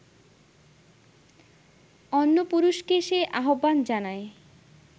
অন্য পুরুষকে সে আহ্বান জানায়